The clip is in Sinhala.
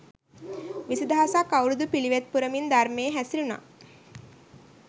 විසි දහසක් අවුරුදු පිළිවෙත් පුරමින් ධර්මයේ හැසිරුණා